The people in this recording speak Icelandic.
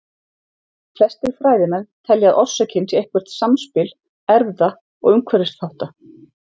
Flestir fræðimenn telja að orsökin sé eitthvert samspil erfða- og umhverfisþátta.